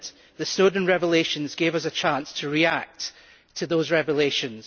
The Snowden revelations gave us a chance to react to those revelations.